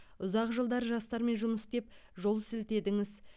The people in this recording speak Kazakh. ұзақ жылдар жастармен жұмыс істеп жол сілтедіңіз